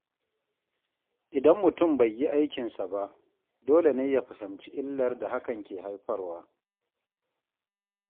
Idan mutum bai yi aikinsa ba, dole ne ya fahimci illar da hakan ke haifarwa.